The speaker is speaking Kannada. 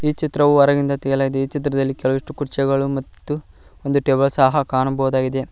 ಈ ಚಿತ್ರವು ಹೊರಗಿಂದ ತ್ತೆಗೆಯಲಾಗಿದೆ ಈ ಚಿತ್ರದಲ್ಲಿ ಕೆಲವಷ್ಟು ಕುರ್ಚಿಗಳು ಮತ್ತು ಒಂದು ಟೇಬಲ್ ಸಹ ಕಾಣಬಹುದಾಗಿದೆ.